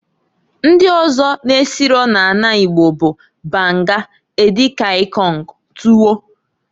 Ndi ọzọ n'esiro n'ana Igbo bụ, banga, edi kan ikong, tuwo.